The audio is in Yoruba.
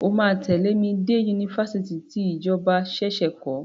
O máa tẹ̀lé mi dé Yunifásitì tí ìjọba ṣẹ̀ṣẹ̀ kọ́.